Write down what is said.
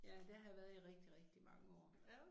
Ja der har jeg været i rigtig rigtig mange år